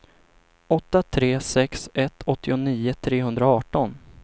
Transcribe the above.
åtta tre sex ett åttionio trehundraarton